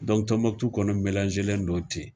Dɔnku Tɔnbukutu kɔni mɛlanselen don ten.